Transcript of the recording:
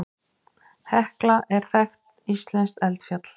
Hekla er þekkt íslenskt eldfjall.